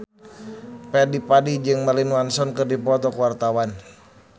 Fadly Padi jeung Marilyn Manson keur dipoto ku wartawan